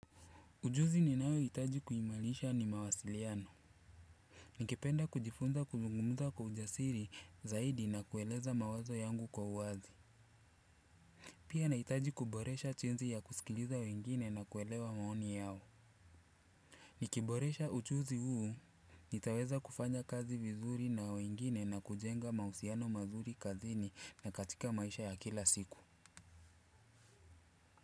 Ujuzi ninayo hitaji kuimarisha ni mawasiliano. Nikipenda kujifunza kuzungumza kwa ujasiri zaidi na kueleza mawazo yangu kwa uwazi. Pia na hitaji kuboresha jinsi ya kusikiliza wengine na kuelewa maoni yao. Nikiboresha ujuzi huu. Nitaweza kufanya kazi vizuri na wengine na kujenga mahusiano mazuri kazini na katika maisha ya kila siku.